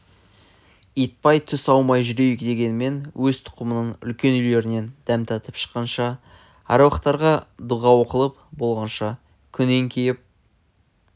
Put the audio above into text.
итбай түс аумай жүрейік дегенмен өз тұқымының үлкен үйлерінен дәм татып шыққанша әр уақтарға дұға оқылып болғанша күн еңкейіп